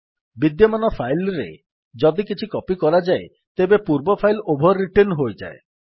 ବିଦ୍ୟମାନ ଫାଇଲ୍ ରେ ଯଦି କିଛି କପୀ କରାଯାଏ ତେବେ ପୂର୍ବ ଫାଇଲ୍ ଓଭର୍ ରିଟେନ୍ ହୋଇଯାଏ